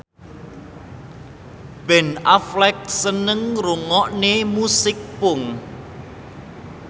Ben Affleck seneng ngrungokne musik punk